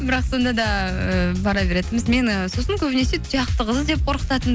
бірақ сонда да ыыы бара беретінбіз мені сосын көбінесе тұяқты қыз деп қорқытатын